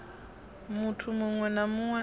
muthu muṅwe na muṅwe a